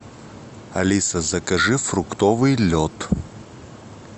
алиса закажи фруктовый лед